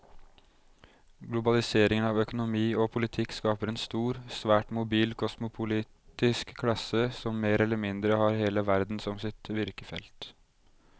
Globaliseringen av økonomi og politikk skaper en stor, svært mobil kosmopolitisk klasse som mer eller mindre har hele verden som sitt virkefelt.